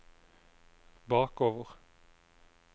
bakover